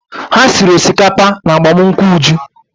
Ha siri osikapa n'agbamụnkwụ Uju.